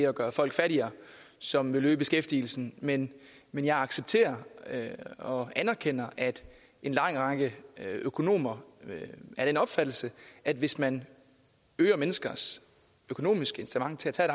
at gøre folk fattigere som ville øge beskæftigelsen men men jeg accepterer og anerkender at en lang række økonomer er af den opfattelse at hvis man øger menneskers økonomiske incitament til at tage